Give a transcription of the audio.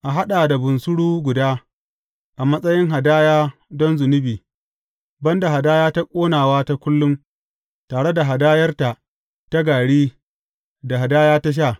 A haɗa da bunsuru guda a matsayin hadaya don zunubi, ban da hadaya ta ƙonawa ta kullum, tare da hadayarta ta gari da hadaya ta sha.